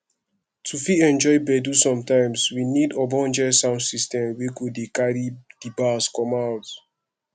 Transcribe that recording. to fit enjoy gbedu sometimes we need ogbonge sound system wey go dey carry di bass come out